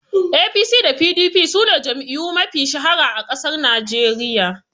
APC da PDP sune jam'iyyu mafi shahara a ƙasar Najeriya